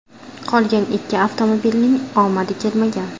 Qolgan ikki avtomobilning omadi kelmagan.